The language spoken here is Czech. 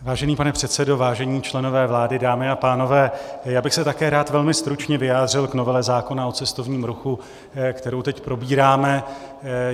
Vážený pane předsedo, vážení členové vlády, dámy a pánové, já bych se také rád velmi stručně vyjádřil k novele zákona o cestovním ruchu, kterou teď probíráme.